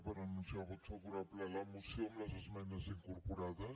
per anunciar el vot favorable a la moció amb les esmenes incorporades